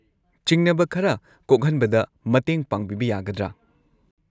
ꯆꯤꯡꯅꯕ ꯈꯔ ꯀꯣꯛꯍꯟꯕꯗ ꯃꯇꯦꯡ ꯄꯥꯡꯕꯤꯕ ꯌꯥꯒꯗ꯭ꯔꯥ?